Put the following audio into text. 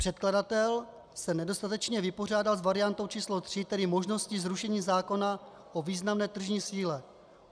Předkladatel se nedostatečně vypořádal s variantou číslo 3, tedy možností zrušení zákona o významné tržní síle.